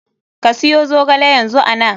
Ka siyo zogale yanzu ana.